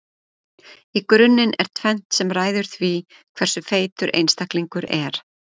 í grunninn er tvennt sem ræður því hversu feitur einstaklingur er